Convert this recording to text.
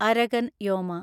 Arakan യോമ